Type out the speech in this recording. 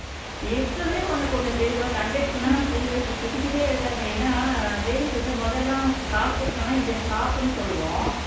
இப்போவே உனக்கு ஒண்ணு தெரியுமா conductor எல்லாம் free bus ல திட்டிக்கிட்டே இருக்காங்க ஏன்னா ladies வந்து மொதல்லாம் காசு கொடுத்தோன்னா இந்த stop ன்னு சொல்லுவோம்